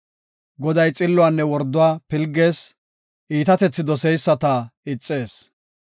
Goday xilluwanne worduwa pilgees; iitatethi doseyisata ixees.